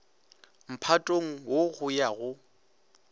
mphatong wo go ya go